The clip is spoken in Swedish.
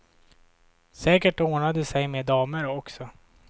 Säkert ordnar det sig med damer också.